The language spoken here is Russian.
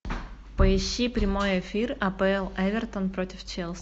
поищи прямой эфир апл эвертон против челси